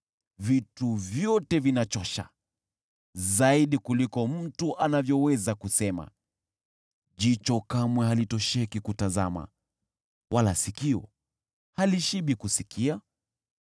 Vitu vyote vinachosha, zaidi kuliko mtu anavyoweza kusema. Jicho kamwe halitosheki kutazama, wala sikio halishibi kusikia.